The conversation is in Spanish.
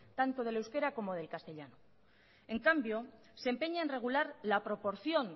tanto del euskera como del castellano en cambio se empeña en regular la proporción